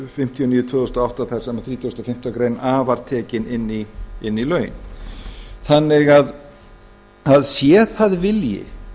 fimmtíu og níu tvö þúsund og átta þar sem þrítugasta og fimmtu grein a var tekin inn í lögin þannig að sé það vilji